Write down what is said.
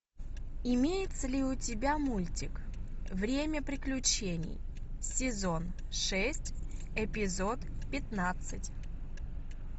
имеется ли у тебя мультик время приключений сезон шесть эпизод пятнадцать